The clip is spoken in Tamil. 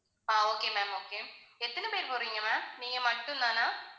ஆஹ் okay ma'am okay எத்தனை பேர் போறீங்க ma'am நீங்க மட்டும் தானா.